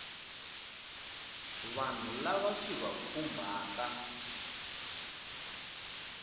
vanhu lava swi va khumbhaka